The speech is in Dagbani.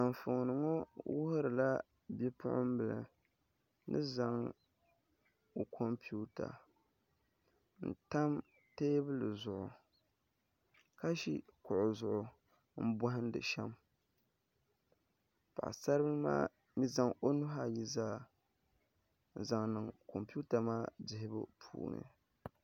Anfonni ŋo wuhurila bipuɣunbili ni. Zaŋ o kompiuta n tam teebuli zuɣu ka ʒo kuɣu zuɣu n bohandi shɛm paɣasaribili maa zaŋ o nuhi ayi zaa n zaŋ niŋ kompiuta maa dihibu puuni